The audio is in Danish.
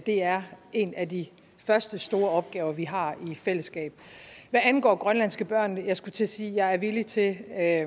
er en af de første store opgaver vi har i fællesskab hvad angår grønlandske børn jeg skulle til at sige at jeg er villig til at